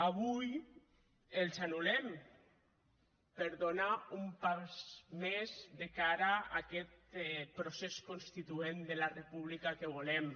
avui els anul·lem per donar un pas més de cara a aquest procés constituent de la república que volem